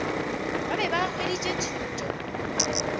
ba be ba hweditše thuto